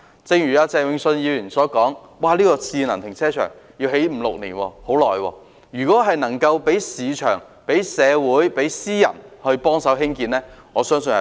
正如鄭泳舜議員所說，興建智能停車場需時五六年，如果能讓市場、社會和私人機構協助興建，我相信速度會更快。